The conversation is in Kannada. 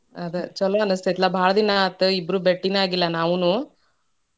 ಅದ ಛಲೋ ಅನಸ್ತೇತ್ಲಾ ಭಾಳ ದಿನಾ ಆತ ಇಬ್ರೂ ಬೆಟ್ಟಿನ ಆಗಿಲ್ಲಾ ನಾವೂನು.